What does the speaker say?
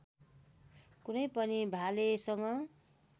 कुनै पनि भालेसँग